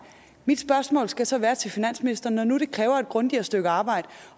mit spørgsmål skal så være til finansministeren når nu det kræver et grundigere stykke arbejde